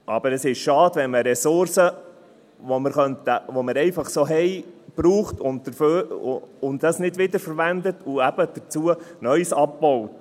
Aber es ist schade, wenn man eine Ressource, die wir einfach so haben, nicht wiederverwendet, sondern zusätzlich neues Material abbaut.